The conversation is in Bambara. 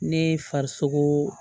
Ne farisogo